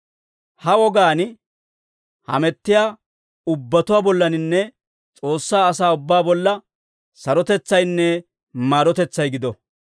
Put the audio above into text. Ha wogaan hamettiyaa ubbatuwaa bollaninne S'oossaa asaa ubbaa bolla, sarotetsaynne maarotetsay gido.